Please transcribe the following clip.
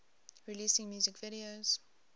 releasing music videos